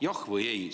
Jah või ei?